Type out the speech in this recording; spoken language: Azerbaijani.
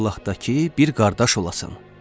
İllah da ki, bir qardaş olasan.